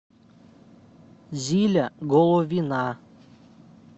зиля головина